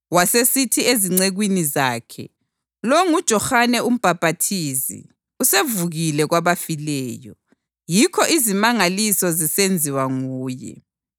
wasesithi ezincekwini zakhe, “Lo nguJohane uMbhaphathizi; usevukile kwabafileyo! Yikho izimangaliso zisenziwa nguye.”